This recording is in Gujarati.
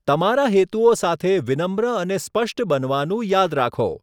તમારા હેતુઓ સાથે વિનમ્ર અને સ્પષ્ટ બનવાનું યાદ રાખો.